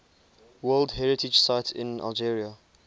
world heritage sites in algeria